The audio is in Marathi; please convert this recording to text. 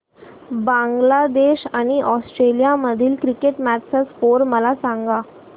बांगलादेश आणि ऑस्ट्रेलिया मधील क्रिकेट मॅच चा स्कोअर मला सांगा